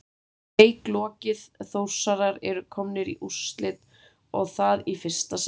Leik lokið Þórsarar eru komnir í úrslit og það í fyrsta sinn!